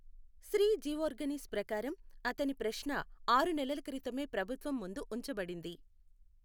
శ్రీ జిఓర్గనిస్ ప్రకారం, అతని ప్రశ్న ఆరు నెలల క్రితమే ప్రభుత్వం ముందు ఉంచబడింది.